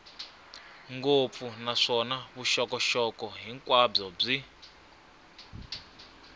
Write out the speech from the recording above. ngopfu naswona vuxokoxoko hinkwabyo byi